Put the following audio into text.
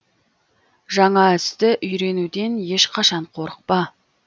жаңа істі үйренуден ешқашан қорықпа